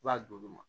I b'a d'olu ma